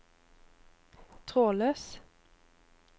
trådløs